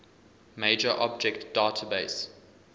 major object database